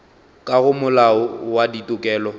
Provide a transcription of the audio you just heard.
ka go molao wa ditokelo